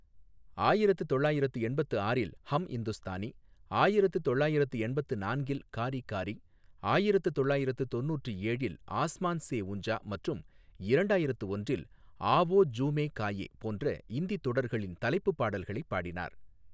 ஆயிரத்து தொள்ளாயிரத்து எண்பத்து ஆறில் ஹம் ஹிந்துஸ்தானி , ஆயிரத்து தொள்ளாயிரத்து எண்பத்து நான்கில் காரி காரி , ஆயிரத்து தொள்ளாயிரத்து தொண்ணூற்று ஏழில் ஆஸ்மான் சே ஊஞ்சா மற்றும் இரண்டாயிரத்து ஒன்றில் ஆவோ ஜூமே காயே போன்ற இந்தி தொடர்களின் தலைப்பு பாடல்களைப் பாடினார்.